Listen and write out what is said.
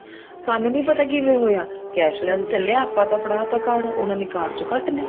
ਸਾਨੂੰ ਨੀ ਪਤਾ ਕਿਵੇਂ ਹੋਇਆ cashless ਚੱਲਿਆ ਆਪਾਂ ਨੇ ਤਾਂ ਫੜਾ ਤਾਂ card ਉਹਨਾ ਨੇ card ਚੋਂ ਕੱਟ ਲਏ